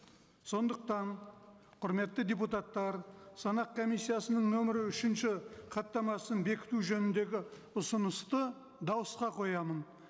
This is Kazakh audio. сондықтан құрметті депутаттар санақ комиссиясының нөмірі үшінші хаттамасын бекіту жөніндегі ұсынысты дауысқа қоямын